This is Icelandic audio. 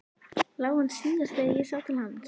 LÁ HANN SÍÐAST ÞEGAR ÉG SÁ TIL HANS.